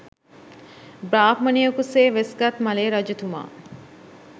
බ්‍රාහ්මණයකු සේ වෙස්ගත් ම‍ලේ රජතුමා